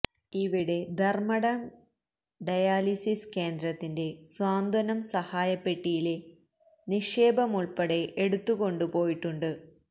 ഇവിടെ ധര്മ്മടം ഡയാലിലീസ് കേന്ദ്രത്തിന്റെ സ്വാന്തനം സഹായ പെട്ടിയിലെ നിക്ഷേപമുള്പ്പെടെ എടുത്ത് കൊണ്ട് പോയിട്ടുണ്ട്